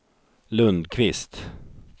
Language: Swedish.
Lundquist